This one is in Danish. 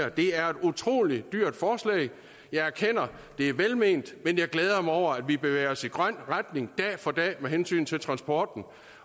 at det er et utrolig dyrt forslag jeg erkender at det er velment men jeg glæder mig over at vi bevæger os i grøn retning dag for dag med hensyn til transporten